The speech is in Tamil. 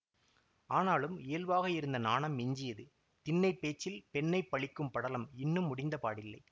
ஆனாலும் இயல்பாக இருந்த நாணம் மிஞ்சியது திண்ணைப்பேச்சில் பெண்ணை பழிக்கும் படலம் இன்னும் முடிந்த பாடில்லை